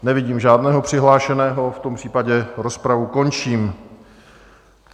Nevidím žádného přihlášeného, v tom případě rozpravu končím.